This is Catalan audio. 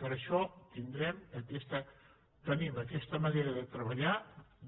per això tenim aquesta manera de treballar